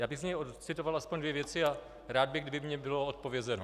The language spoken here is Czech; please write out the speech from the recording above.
Já bych z něj ocitoval aspoň dvě věci a rád bych, kdyby mi bylo odpovězeno.